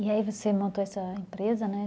E aí você montou essa empresa, né?